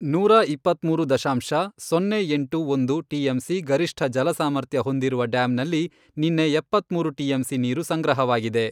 ನೂರಾ ಇಪ್ಪತ್ಮೂರು ದಶಾಂಶ, ಸೊನ್ನೆ ಎಂಟು ಒಂದು ಟಿಎಂಸಿ ಗರಿಷ್ಠ ಜಲ ಸಾಮರ್ಥ್ಯ ಹೊಂದಿರುವ ಡ್ಯಾಮ್ನಲ್ಲಿ ನಿನ್ನೆ ಎಪ್ಪತ್ಮೂರು ಟಿಎಂಸಿ ನೀರು ಸಂಗ್ರಹವಾಗಿದೆ.